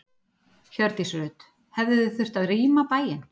Hjördís Rut: Hefðuð þið þurft að rýma bæinn?